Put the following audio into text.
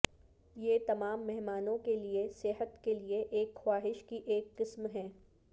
یہ تمام مہمانوں کے لئے صحت کے لئے ایک خواہش کی ایک قسم ہے